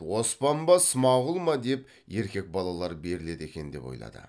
оспан ба смағұл ма деп еркек балалар беріледі екен деп ойлады